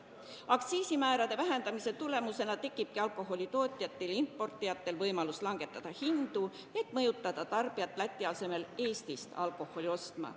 Aktsiisimäärade vähendamise tulemusena tekib alkoholi tootjatel ja importijatel võimalus hindu langetada, et mõjutada tarbijat Läti asemel Eestist alkoholi ostma.